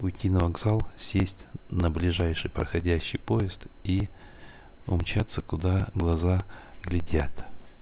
уйти на вокзал сесть на ближайший проходящий поезд и умчаться куда глаза глядят